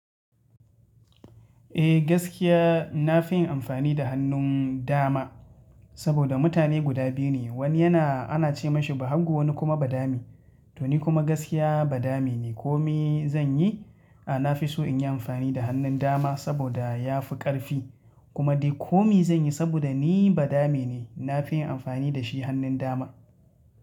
Eh gaskiya na fi yin amfani da hannun dama saboda mutane guda biyu ne, wani yana ana ce masa bahagu wani kuma badami. To ni kuma gaskiya badami ne. Komi zan yi, a na fi so in yi amfani da hannun dama saboda ya fi ƙarfi kuma dai komi zan yi saboda ni badami ne. Na fi yin amfani da shi hannun dama.